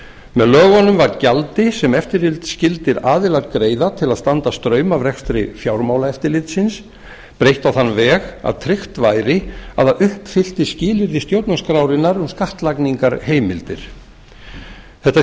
með lögunum var gjaldi sem eftirlitsskyldir aðilar greiða til að standa straum af rekstri fjármálaeftirlitsins breytt á þann veg að tryggt væri að það uppfyllti skilyrði stjórnarskrárinnar um skattlagningarheimldir þetta